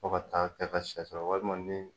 Fo ka taa kɛ ka she sɔrɔ walima ni.